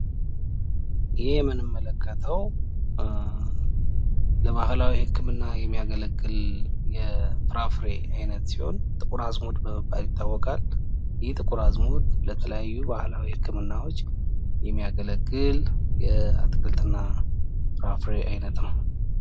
ይህ የምንመለከተው ለባህላዊ ህክምና የሚያገለግል የፍራፍሬ አይነት ሲሆን ጥቁር አዝሙድ በመባል ይታወቃል። ጥቁር አዝሙድ ለተለያዩ ባህላዊ ህክምናዎች የሚያገለግል የአትክልት እና ፍራፍሬ አይነት ነው።